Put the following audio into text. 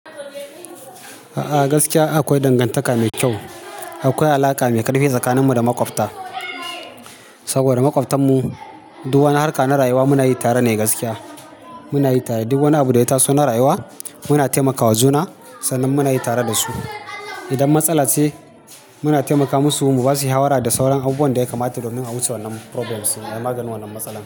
A'a gaskiya akwai dangantaka mai kyau, akwai alaƙa mai ƙarfi tsakaninmu da maƙwabta saboda maƙwabtan mu duk wani harka na rayuwa muna yi tare ne gaskiya muna yi tare. Duk wani abu da ya taso na rayuwa muna taimaka wa juna sannan muna yi tare da su. Idan matsala ce muna taimaka musu, mu basu yi shawara da sauran abubuwan da ya kamata domin a wuce wannan problems, a maganin wannan matsala.